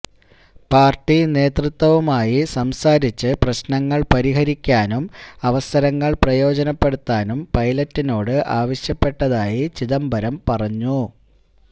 party നേതൃത്വവുമായി സംസാരിച്ച് പ്രശ്നങ്ങള് പരിഹരിക്കാനും അവസരങ്ങള് പ്രയോജനപ്പെടുത്താനും പൈലറ്റിനോട് ആവശ്യപ്പെട്ടതായി ചിദംബരം പറഞ്ഞു